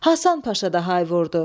Hasan Paşa da hay vurdu.